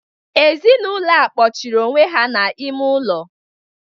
Ezinaụlọ a kpọchiri onwe ha n'ime ụlọ.